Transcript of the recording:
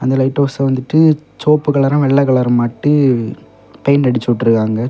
இந்த lighthouse வந்துட்டு செவப்பு கலரும் வெள்ளை கலருமாட்டு பெயிண்ட் அடிச்சி உட்ருக்காங்க.